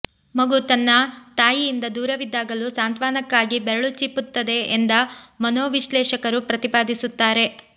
ಮಗು ತನ್ನ ತಾಯಿಯಿಂದ ದೂರವಿದ್ದಾಗಲೂ ಸಾಂತ್ವನಕ್ಕಾಗಿ ಬೆರಳು ಚೀಪುತ್ತದೆ ಎಂದ ಮನೋವಿಶ್ಲೇಷಕರು ಪ್ರತಿಪಾದಿಸುತ್ತಾರೆ